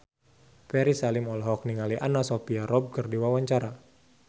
Ferry Salim olohok ningali Anna Sophia Robb keur diwawancara